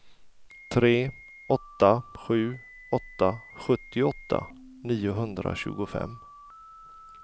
tre åtta sju åtta sjuttioåtta niohundratjugofem